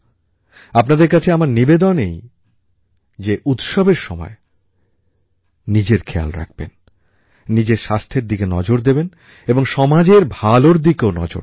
আপনাদের কাছে আমার নিবেদন যে উৎসবের সময় নিজের খেয়াল রাখবেন নিজের স্বাস্থ্যের দিকে নজর দেবেন ও সমাজের ভালোর দিকেও নজর দেবেন